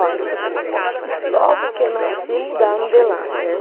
Olha, logo que eu nasci, mudaram de lá, né?